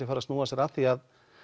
fara að snúa sér að því